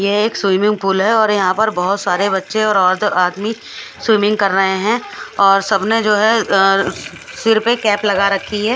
यहाँ एक swimming pool है और यह पर बोहोत सारे बच्चे और आदमी स्विमिंग कर रहे है और सबने जो है अ- सिर पे कैप लगा रखी है।